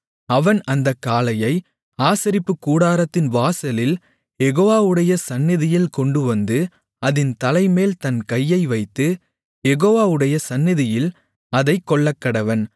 அவன் அந்தக் காளையை ஆசரிப்புக்கூடாரத்தின் வாசலில் யெகோவாவுடைய சந்நிதியில் கொண்டுவந்து அதின் தலைமேல் தன் கையை வைத்து யெகோவாவுடைய சந்நிதியில் அதைக் கொல்லக்கடவன்